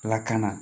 Ala kana